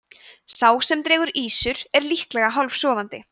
þessi bók fjallar um fjölmörg íslensk skordýr á aðgengilegan hátt